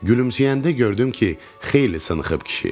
Gülümsəyəndə gördüm ki, xeyli sınınxb kişi.